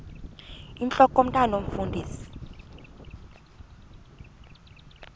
intlok omntwan omfundisi